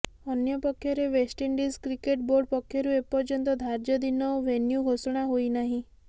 ଅନ୍ୟପକ୍ଷରେ West Indies cricket board ପକ୍ଷରୁ ଏପର୍ଯ୍ୟନ୍ତ ଧାର୍ଯ୍ୟ ଦିନ ଓ ଭେନ୍ୟୁ ଘୋଷଣା ହୋଇନାହିଁ